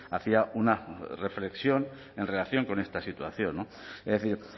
hacía una reflexión en relación con esta situación es decir